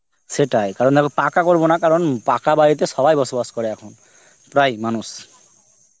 সেটাই, কারণ আমি পাকা করবো না, কারণ উম পাকা বাড়িতে সবাই বসবাস করে এখন, প্রাই মানুষ.